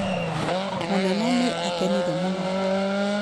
Mũnene nĩ aakenire mũno.